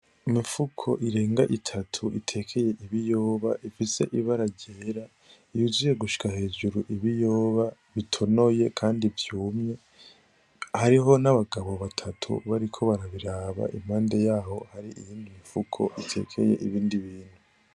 Imifuko irenga itatu itekeye ibiyoba ifise ibara ryera yuzuye gushika hejuru ibiyoba bitonoye kandi vyumye hariho n' abagabo batatu bariko barayiraba impande yaho hari iyindi imifuko itekeye ibindi bintu.